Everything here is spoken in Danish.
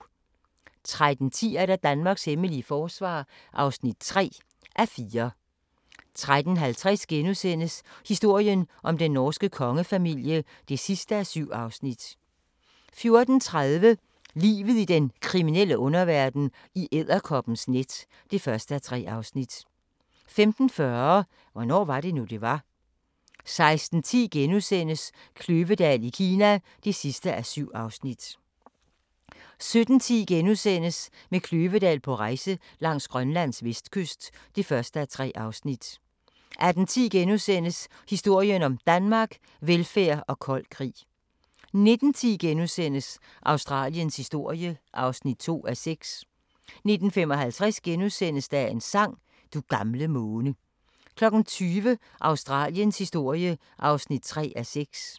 13:10: Danmarks hemmelige forsvar (3:4) 13:50: Historien om den norske kongefamilie (7:7)* 14:30: Livet i den kriminelle underverden - i edderkoppens net (1:3) 15:40: Hvornår var det nu, det var? 16:10: Kløvedal i Kina (7:7)* 17:10: Med Kløvedal på rejse langs Grønlands vestkyst (1:3)* 18:10: Historien om Danmark: Velfærd og kold krig * 19:10: Australiens historie (2:6)* 19:55: Dagens sang: Du gamle måne * 20:00: Australiens historie (3:6)